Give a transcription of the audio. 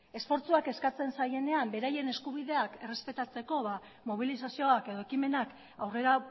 esfortzuak eskatzen zaienean beraien eskubideak errespetatzeko ba mobilizazioak edo ekimenak aurrera